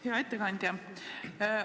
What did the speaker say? Hea ettekandja!